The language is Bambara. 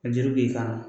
A juru b'i kan na